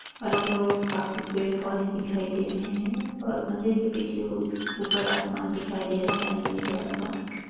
अगल -बगल काफी पेड़ पौधे दिखाई दे रहे हैं और मंदिर के पीछे औ ऊपर आसमान दिखाई दे रहा है नीले कलर का।